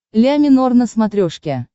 ля минор на смотрешке